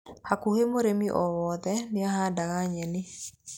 Hakuhĩ mũrĩmi o wothe nĩ ahandaga nyeni.